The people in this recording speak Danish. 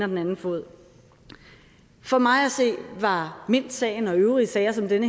den anden fod for mig at se var mintsagen og øvrige sager som den